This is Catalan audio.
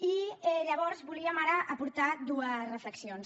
i llavors volíem ara aportar dues reflexions